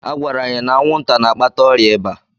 Agwara anyị na anwụnta na-akpata ọrịa iba.